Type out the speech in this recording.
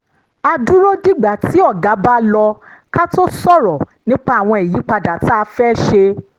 a dúró dìgbà tí oga bá lọ ká tó sọ̀rọ̀ nípa àwọn ìyípadà tá a fẹ́ ṣe